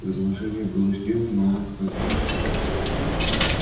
предложение было сделано но он отказался